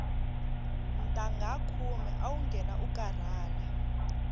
ntangha khume awu nghena u karhala